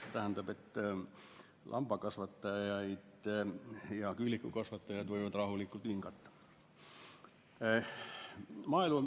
See tähendab, et lambakasvatajad ja küülikukasvatajad võivad rahulikult hingata.